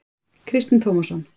Kristinn Tómasson.